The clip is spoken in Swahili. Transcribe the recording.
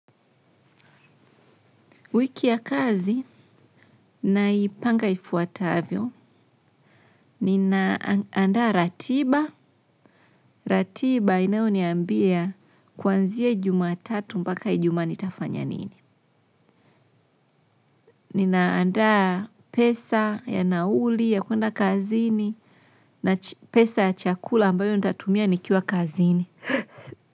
Wiki ya kazi, naipanga ifuatavyo, ninaandaa ratiba, ratiba inayoniambia kuanzia jumatatu mpaka ijumaa nitafanya nini. Ninaandaa pesa ya nauli, ya kuenda kazini, na pesa ya chakula ambayo nitatumia nikiwa kazini.